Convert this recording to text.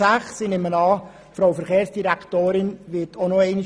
Ich nehme an, dass auch die Verkehrsdirektorin darauf eingehen wird.